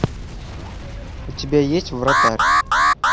у тебя есть вратарь